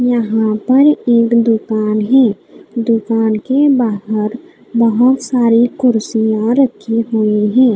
यहाँ पर एक दुकान है दुकान के बहार बहुत सारे कुर्सियां रखी हुई हैं।